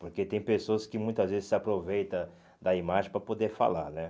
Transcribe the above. Porque tem pessoas que muitas vezes se aproveita da imagem para poder falar, né?